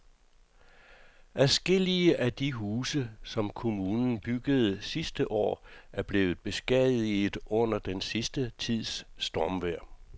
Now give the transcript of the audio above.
Adskillige af de huse, som kommunen byggede sidste år, er blevet beskadiget under den sidste tids stormvejr.